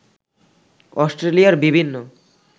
অস্ট্রেলিয়ার বিভিন্ন